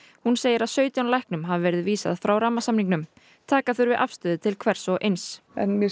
hún segir að sautján læknum hafi verið vísað frá rammasamningnum taka þurfi afstöðu til hvers og eins en mér